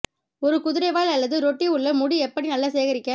ஒரு குதிரைவால் அல்லது ரொட்டி உள்ள முடி எப்படி நல்ல சேகரிக்க